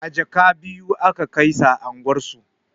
A jaka biyu aka kaisa unguwar su